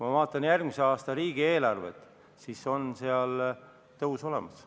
Ma vaatan järgmise aasta riigieelarvet, seal on tõus olemas.